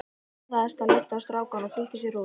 Hann forðaðist að líta á strákana og flýtti sér út.